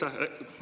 Aitäh!